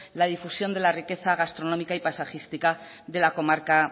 la difusión de la riqueza gastronómica y paisajística de la comarca